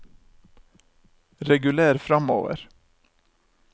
reguler framover